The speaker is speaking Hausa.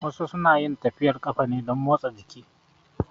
Wasu su na yin tafiyar ƙafa ne don motsa jiki